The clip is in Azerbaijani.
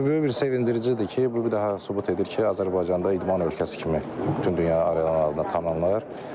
Bu böyük bir sevindiricidir ki, bu bir daha sübut edir ki, Azərbaycanda idman ölkəsi kimi bütün dünya arenalarında tanınır.